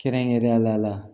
Kɛrɛnkɛrɛnnenyala